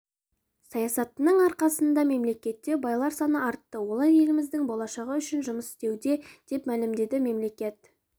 саясатының арқасында мемлекетте байлар саны артты олар еліміздің болашағы үшін жұмыс істеуде деп мәлімдеді мемлекет